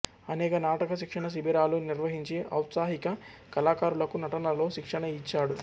అనేక నాటక శిక్షణ శిబిరాలు నిర్వహించి ఔత్సాహిక కళాకారులకు నటనలో శిక్షణ ఇచ్చాడు